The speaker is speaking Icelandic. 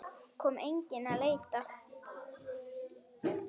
Kom enginn að leita?